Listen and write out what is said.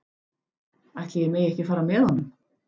Ætli ég megi ekki fara með honum?